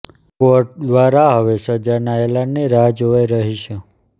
court દ્વારા હવે સજાના એલાનની રાહ જોવાઇ રહી છે